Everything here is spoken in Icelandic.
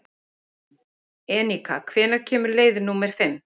Enika, hvenær kemur leið númer fimm?